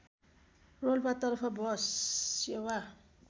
रोल्पातर्फ bus सेवा